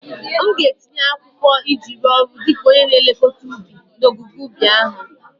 M ga-etinye akwụkwọ iji rụọ ọrụ dị ka onye na-elekọta ubi n'ogige ubi ahụ